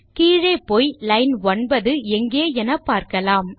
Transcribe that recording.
கீழே போய் லைன் 9 எங்கே என பார்க்கலாம்